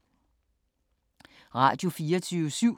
Radio24syv